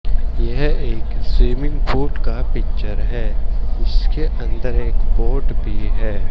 यहां एक swimming pool का पिक्चर है। उसके अंदर एक बोट भी है।